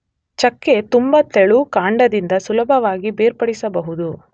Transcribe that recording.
ಚಕ್ಕೆ ತುಂಬ ತೆಳು, ಕಾಂಡದಿಂದ ಸುಲಭವಾಗಿ ಬೇರ್ಪಡಿಸಬಹುದು.